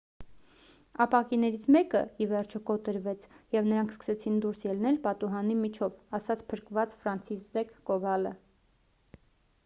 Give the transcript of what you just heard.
ապակիներից մեկը ի վերջո կոտրվեց և նրանք սկսեցին դուրս ելնել պատուհանի միջով»,- ասաց փրկված ֆրանցիսզեկ կովալը: